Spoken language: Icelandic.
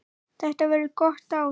Þetta verður gott ár.